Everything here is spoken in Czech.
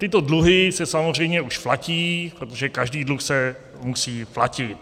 Tyto dluhy se samozřejmě už platí, protože každý dluh se musí platit.